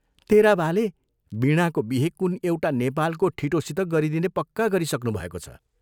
तेरा बाले वीणाको बिहे कुन एउटा नेपालको ठिटोसित गरिदिने पक्का गरिसक्नुभएको छ।